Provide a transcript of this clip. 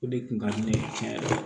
O de kun ka di ne ye tiɲɛ yɛrɛ la